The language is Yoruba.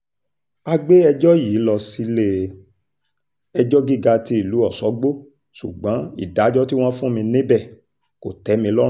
a gbé ẹjọ́ yìí lọ sílé-ẹjọ́ gíga tìlú ọ̀ṣọ́gbó ṣùgbọ́n ìdájọ́ tí wọ́n fún mi níbẹ̀ kò tẹ́ mi lọ́rùn